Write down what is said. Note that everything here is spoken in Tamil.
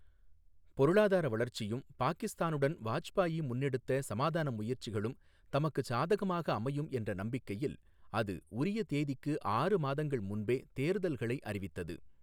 பொருளாதார வளர்ச்சியும், பாகிஸ்தானுடன் வாஜ்பாயி முன்னெடுத்த சமாதான முயற்சிகளும் தமக்குச் சாதகமாக அமையும் என்ற நம்பிக்கையில், அது உரிய தேதிக்கு ஆறு மாதங்கள் முன்பே தேர்தல்களை அறிவித்தது.